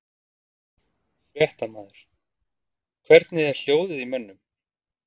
Fréttamaður: Hvernig er hljóðið í mönnum?